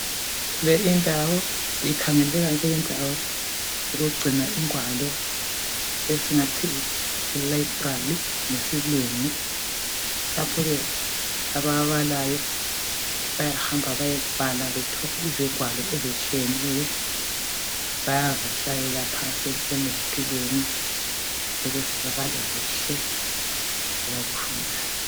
Le indawo ikhangeleka njengendawo yokugcina ingwalo esingathi yi library ngesilungu lapho ke ababalayo bayahamba bayebala bathole izingwalo ezitshiyeneyo. Bayazihlalela phansi ezitulweni ukuze babale kuhle abakufunayo.